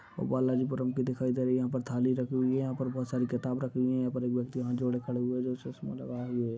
बालाजीपुरम तो दिखाई दे रही है यहां पर थाली रखी हुई है यहां पर बहुत सारी किताब रखी हुई है यहां पर एक व्यक्ति हाथ जोड़े खड़े हुए जो चश्मा लगा हुए है।